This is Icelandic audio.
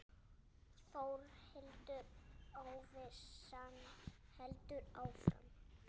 Þórhildur: Óvissan heldur áfram?